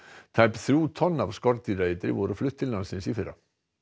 tæp þrjú tonn af skordýraeitri voru flutt til landsins í fyrra